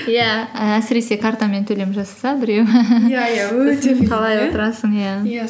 иә әсіресе картамен төлем жасаса біреу